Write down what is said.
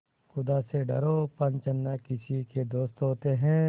खुदा से डरो पंच न किसी के दोस्त होते हैं